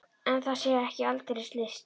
En það sé ekki aldeilis list.